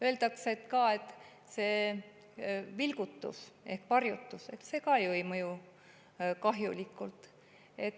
Öeldakse ka, et see vilgutus ehk varjutus ei mõju kahjulikult.